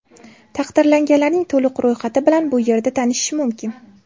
Taqdirlanganlarning to‘liq ro‘yxati bilan bu yerda tanishish mumkin .